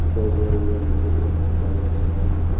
मुझे ऐसा लगता है की यहां एक--